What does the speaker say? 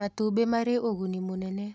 Matumbĩ marĩ ũguni mũnene